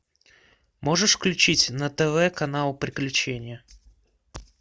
можешь включить на тв канал приключения